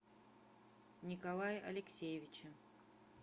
николае алексеевиче